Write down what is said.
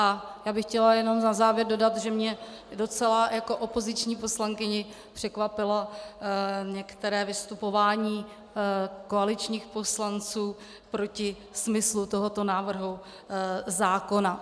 A já bych chtěla jenom na závěr dodat, že mě docela jako opoziční poslankyni překvapilo některé vystupování koaličních poslanců proti smyslu tohoto návrhu zákona.